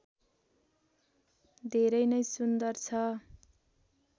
धेरै नै सुन्दर छ